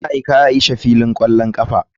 Ya aika aisha filin kwallon kafa.